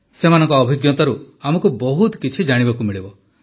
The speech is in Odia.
ସେମାନଙ୍କ ଅଭିଜ୍ଞତାରୁ ଆମକୁ ବହୁତ କିଛି ଜାଣିବାକୁ ମିଳିବ